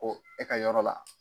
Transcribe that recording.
e ka yɔrɔ la.